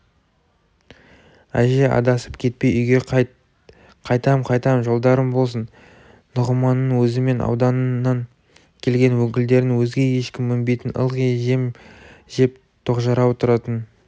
әже адасып кетпей үйге қайт қайтам қайтам жолдарың болсын нұғыманның өзі мен ауданнан келген өкілдерден өзге ешкім мінбейтін ылғи жем жеп тоқжарау тұратын